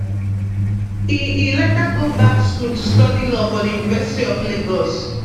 e e later go back school to study law for di university of lagos